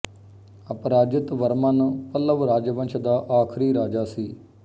ਅਪਰਾਜਿਤ ਵਰਮਨ ਪੱਲਵ ਰਾਜਵੰਸ਼ ਦਾ ਆਖਰੀ ਰਾਜਾ ਸੀ